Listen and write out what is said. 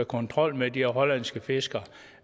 kontrol med de hollandske fiskere